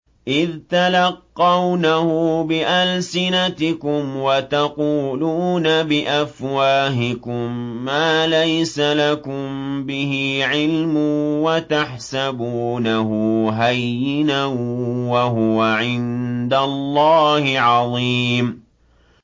إِذْ تَلَقَّوْنَهُ بِأَلْسِنَتِكُمْ وَتَقُولُونَ بِأَفْوَاهِكُم مَّا لَيْسَ لَكُم بِهِ عِلْمٌ وَتَحْسَبُونَهُ هَيِّنًا وَهُوَ عِندَ اللَّهِ عَظِيمٌ